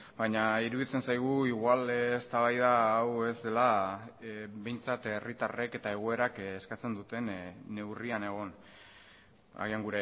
baina iruditzen zaigu igual eztabaida hau ez dela behintzat herritarrek eta egoerak eskatzen duten neurrian egon agian